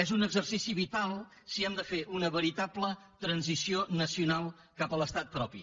és un exercici vital si hem de fer una veritable transició nacional cap a l’estat propi